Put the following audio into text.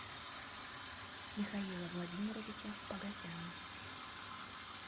михаила владимировича погосяна